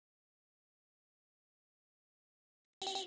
Þar voru engin tæki, bara eitt stórt hús.